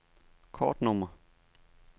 kortnummer